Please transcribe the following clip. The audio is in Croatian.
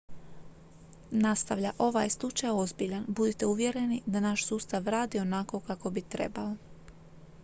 "nastavlja: "ovaj je slučaj ozbiljan. budite uvjereni da naš sustav radi onako kako bi trebao.